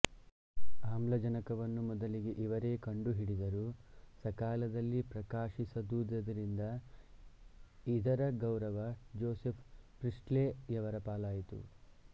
ಆಮ್ಲಜನಕವನ್ನು ಮೊದಲಿಗೆ ಇವರೇ ಕಂಡುಹಿಡಿದರೂ ಸಕಾಲದಲ್ಲಿ ಪ್ರಕಾಶಿಸದಿದ್ದುದರಿಂದ ಇದರ ಗೌರವ ಜೋಸೆಫ್ ಪ್ರೀಸ್ಟ್ಲೆ ಯವರ ಪಾಲಾಯಿತು